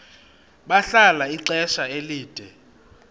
bahlala ixesha elide